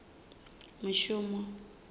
mishumo